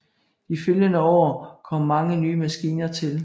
De følgende år kom mange nye maskiner til